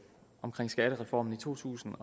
skattereformen i to tusind